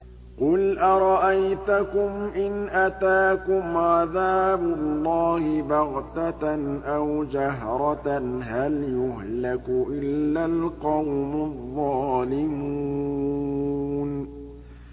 قُلْ أَرَأَيْتَكُمْ إِنْ أَتَاكُمْ عَذَابُ اللَّهِ بَغْتَةً أَوْ جَهْرَةً هَلْ يُهْلَكُ إِلَّا الْقَوْمُ الظَّالِمُونَ